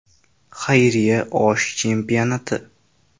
Xayriya osh chempionati.